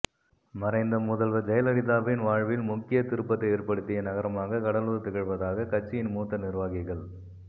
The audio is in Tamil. மறைந்த முதல்வர் ஜெயலலிதாவின் வாழ்வில் முக்கியத் திருப்பத்தை ஏற்படுத்திய நகரமாக கடலூர் திகழ்வதாக கட்சியின் மூத்த நிர்வாகிகள்